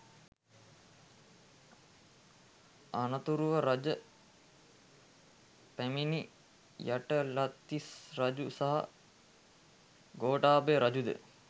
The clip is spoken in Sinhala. අනතුරුව රජ පැමිණි යටාලතිස්ස රජු සහ ගෝඨාභය රජු ද